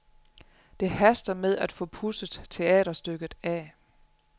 Det haster med at få pudset teaterstykket af.